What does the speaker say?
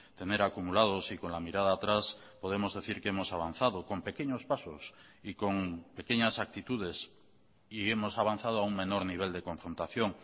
tener acumulados y con la mirada atrás podemos decir que hemos avanzado con pequeños pasos y con pequeñas actitudes y hemos avanzado a un menor nivel de confrontación